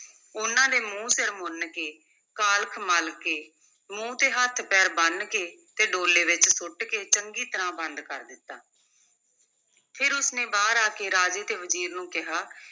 ਉਨ੍ਹਾਂ ਦੇ ਮੂੰਹ-ਸਿਰ ਮੁੰਨ ਕੇ, ਕਾਲਖ ਮਲ ਕੇ, ਮੂੰਹ ਤੇ ਹੱਥ-ਪੈਰ ਬੰਨ੍ਹ ਕੇ ਤੇ ਡੋਲੇ ਵਿਚ ਸੁੱਟ ਕੇ ਚੰਗੀ ਤਰ੍ਹਾਂ ਬੰਦ ਕਰ ਦਿੱਤਾ ਫਿਰ ਉਸ ਨੇ ਬਾਹਰ ਆ ਕੇ ਰਾਜੇ ਤੇ ਵਜ਼ੀਰ ਨੂੰ ਕਿਹਾ,